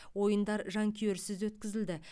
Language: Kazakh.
ойындар жанкүйерсіз өткізілді